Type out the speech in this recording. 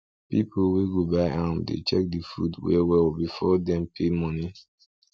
people wey go buy am dey check the food well well before dem pay money